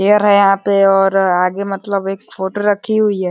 Air है यहाँ पे और आगे मतलब एक फोटो रखी हुई है।